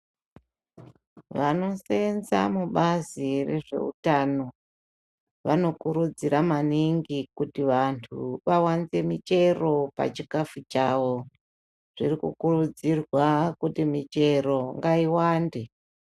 Vanosenza mubazi rezveutano vanokurudzira maningi kuti vantu vawanze michero pachikafu chavo zvirikukuridzirwa kuti michero ngayiwande.